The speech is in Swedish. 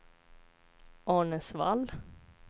Arnäsvall